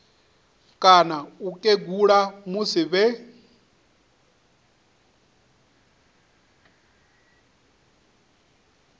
kana u kegula musi vhe